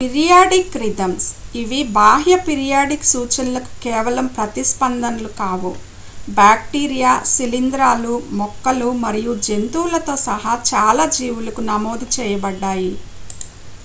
periodic rhythms ఇవి బాహ్య periodic సూచనలకు కేవలం ప్రతిస్పందనలు కావు బ్యాక్టీరియా శిలీంధ్రాలు మొక్కలు మరియు జంతువులతో సహా చాలా జీవులకు నమోదు చేయబడ్డాయి